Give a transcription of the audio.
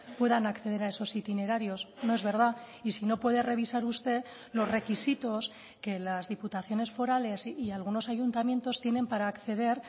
puedan acceder a esos itinerarios no es verdad y si no puede revisar usted los requisitos que las diputaciones forales y algunos ayuntamientos tienen para acceder